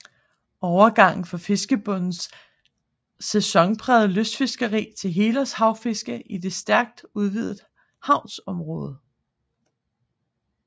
Overgangen fra fiskebondens sesængprægede kystfiskeri til helårs havfiske i det stærkt udvidet shavområde